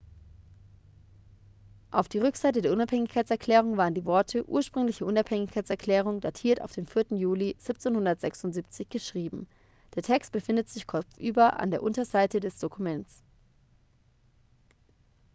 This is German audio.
auf die rückseite der unabhängigkeitserklärung waren die worte ursprüngliche unabhängigkeitserklärung datiert auf den 4. juli 1776 geschrieben der text befindet sich kopfüber an der unterseite des dokuments